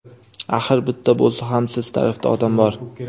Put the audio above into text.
Axir bitta bo‘lsa ham siz tarafda odam bor.